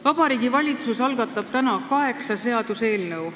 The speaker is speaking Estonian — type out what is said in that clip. Vabariigi Valitsus algatab täna kaheksa seaduseelnõu.